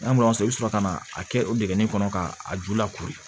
N'a i bɛ sɔrɔ ka na a kɛ o dingɛn kɔnɔ ka a ju lakori